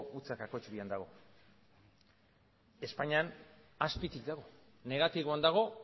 zero koma bian dago espainian azpitik dago negatiboan dago